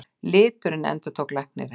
Liturinn, endurtók læknirinn.